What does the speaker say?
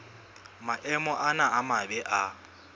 maemo ana a mabe a